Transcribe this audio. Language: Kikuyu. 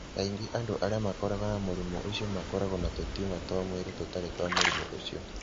Kaingĩ andũ arĩa makoragwo na mũrimũ ũcio makoragwo na tũtumor twa mwĩrĩ tũtarĩ twa mũrimũ ũcio.